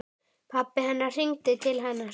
Pabbi hennar hringdi til hennar.